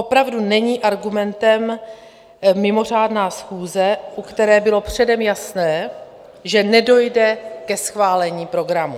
Opravdu není argumentem mimořádná schůze, u které bylo předem jasné, že nedojde ke schválení programu.